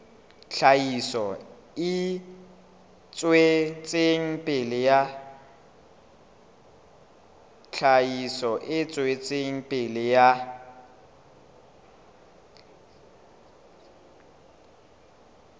tlhahiso e tswetseng pele ya